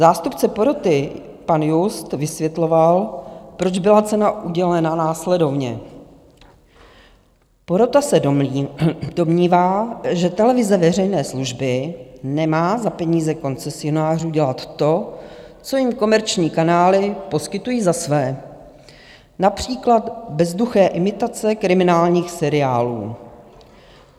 Zástupce poroty pan Just vysvětloval, proč byla cena udělena, následovně: Porota se domnívá, že televize veřejné služby nemá za peníze koncesionářů dělat to, co jim komerční kanály poskytují za své, například bezduché imitace kriminálních seriálů.